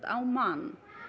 á mann